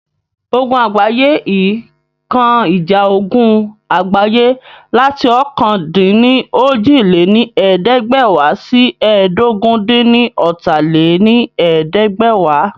Ogun Àgbáyé II kan ìjà ogun àgbáyé láti ọ̀kan-dín-ní-ojì lé ní ẹ̀ẹ́dẹ́gbẹ́wá sí ẹ́ẹdógún-dín-ní-ọ́ta lé ní ẹ̀ẹ́dẹ́gbẹ́wá